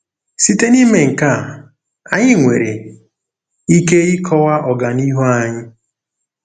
Site n'ime nke a, anyị nwere ike ịkọwa ọganihu anyị.